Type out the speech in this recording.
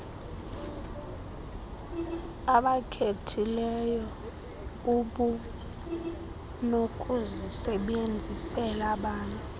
obakhethileyo ubunokuzisebenzisela bani